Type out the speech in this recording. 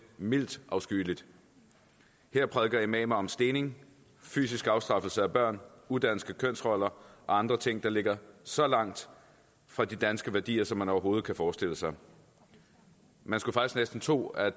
mildt afskyeligt her prædiker imamer om stening fysisk afstraffelse af børn udanske kønsroller og andre ting der ligger så langt fra de danske værdier som man overhovedet kan forestille sig man skulle faktisk næsten tro at